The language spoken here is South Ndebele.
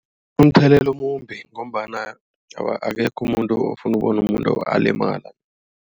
Umthelela omumbi ngombana akekho umuntu ofuna ukubona umuntu alimala.